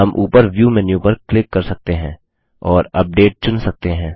हम ऊपर view menu पर क्लिक कर सकते हैं और अपडेट चुन सकते हैं